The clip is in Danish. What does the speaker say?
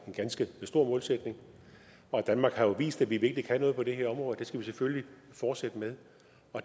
ganske stor målsætning og danmark har jo vist at vi virkelig kan noget på det her område det skal vi selvfølgelig fortsætte med